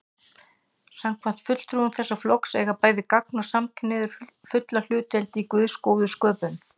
Samkvæmt fulltrúum þessa flokks eiga bæði gagn- og samkynhneigðir fulla hlutdeild í Guðs góðu sköpun.